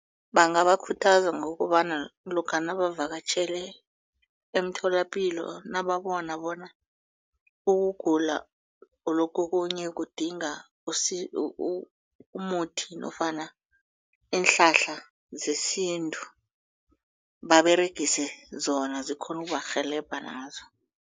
Bangabakhuthaza ngokobana lokha babavakatjhele emtholapilo nababona bona ukugula lokhu okunye kudinga umuthi nofana iinhlahla zesintu baberegise zona zikhona ukubarhelebha nazo.